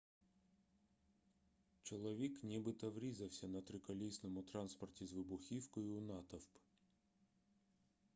чоловік нібито врізався на триколісному транспорті з вибухівкою у натовп